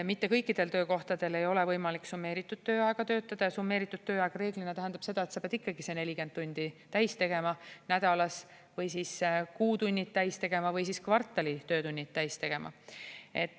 Mitte kõikidel töökohtadel ei ole võimalik summeeritud tööajaga töötada ja summeeritud tööaeg reeglina tähendab seda, et sa pead ikkagi selle 40 tundi nädalas täis tegema või kuu tunnid täis tegema või kvartali töötunnid täis tegema.